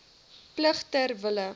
plig ter wille